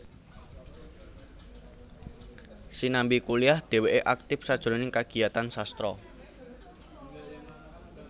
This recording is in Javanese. Sinambi kuliah dhèwèké aktif sajroning kagiyatan sastra